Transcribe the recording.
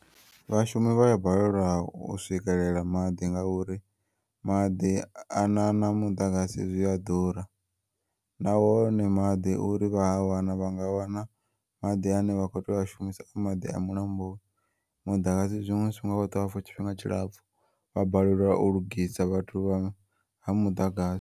Vhashumi vhaya balelwa u swikelela maḓi ngauri maḓi a na muḓagasi zwiya ḓura, nahone maḓi uri vha a wane vhanga wana maḓi ane vha kho tea u a shumisa a maḓi a mulamboni muḓagasi zwiṅwe zwifhinga u a ṱuwa for tshifhinga tshilapfu vhabalelwa u lugisa vhathu vha ha muḓagasi.